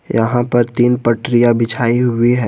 यहां पर तीन पटरियां बिछी हुई है।